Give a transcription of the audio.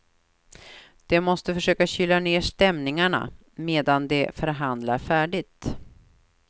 De måste försöka kyla ned stämningarna medan de förhandlar färdigt.